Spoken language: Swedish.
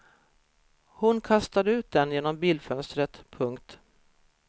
Hon kastade ut den genom bilfönstret. punkt